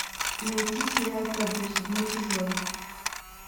найти сериал табу седьмой сезон